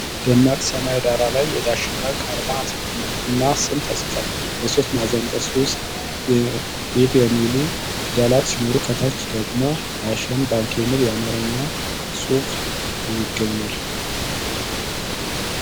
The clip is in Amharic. ደማቅ ሰማያዊ ዳራ ላይ የዳሽን ባንክ አርማ እና ስም ተጽፏል። በሶስት ማዕዘን ቅርጽ ውስጥ 'db' የሚሉ ፊደላት ሲኖሩ፣ ከታች ደግሞ 'ዳሽን ባንክ' የሚል የአማርኛ ጽሑፍ ይገኛል።